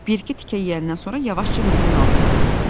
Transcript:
Bir iki tikə yeyəndən sonra yavaşca mizin altına atdı.